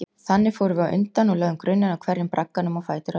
Þannig fórum við á undan og lögðum grunninn að hverjum bragganum á fætur öðrum.